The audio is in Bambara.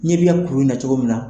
N ɲɛ b'i ya ɛ kuru in na cogo min na.